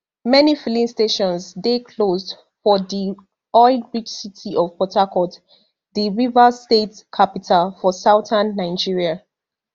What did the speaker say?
many filling stations dey closed for di oil rich city of port harcourt di rivers state capital for southern nigeria